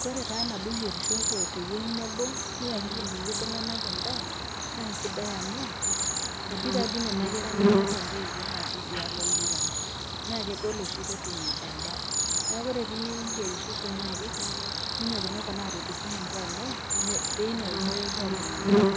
Kore taa teneyierishosho tewueji nabo, niakiki ilkulie tung'ana endaa naa aisidai amuu, etii taadei Nena kera nemeeta intoiwo natii idialo oldukai, naa kegol oshi pee etum endaa. Neaku ore pee iyerishosho niakiki ninyokinyoko naa sii ninche amu teina oitoi epuo aatum endaa,